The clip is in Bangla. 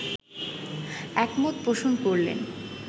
একমত পোষণ করলেন